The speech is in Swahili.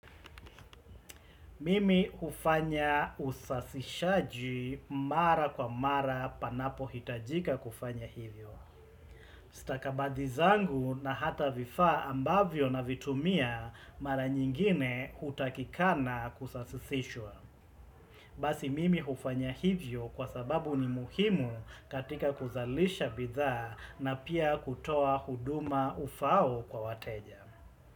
Mimi hufanya usafishaji mara kwa mara panapo hitajika kufanya hivyo. Stakabadhi zangu na hata vifaa ambavyo navitumia mara nyingine hutakikana kusasisishwa. Basi mimi hufanya hivyo kwa sababu ni muhimu katika kuzalisha bidhaa na pia kutoa huduma ufao kwa wateja.